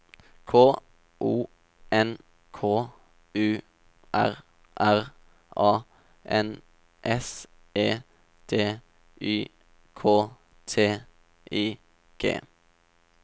K O N K U R R A N S E D Y K T I G